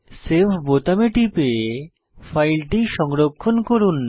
save বোতামে টিপে ফাইলটি সংরক্ষণ করুন